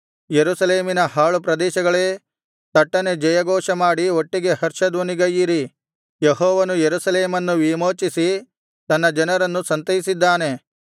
ಯೆರೂಸಲೇಮಿನ ಹಾಳುಪ್ರದೇಶಗಳೇ ತಟ್ಟನೆ ಜಯಘೋಷಮಾಡಿ ಒಟ್ಟಿಗೆ ಹರ್ಷಧ್ವನಿಗೈಯಿರಿ ಯೆಹೋವನು ಯೆರೂಸಲೇಮನ್ನು ವಿಮೋಚಿಸಿ ತನ್ನ ಜನರನ್ನು ಸಂತೈಸಿದ್ದಾನೆ